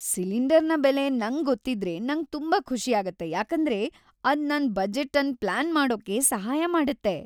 ಸಿಲಿಂಡರ್ನ ಬೆಲೆ ನಂಗ್ ಗೊತಿದ್ರೆ ನಂಗ್ ತುಂಬಾ ಖುಷಿಯಾಗುತ್ತೆ ಯಾಕೆಂದ್ರೆ ಅದು ನನ್ ಬಜೆಟ್ ಅನ್ ಪ್ಲಾನ್ ಮಾಡೋಕೆ ಸಹಾಯ ಮಾಡುತ್ತೆ.